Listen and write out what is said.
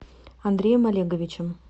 андреем олеговичем